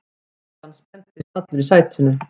Kjartan spenntist allur í sætinu.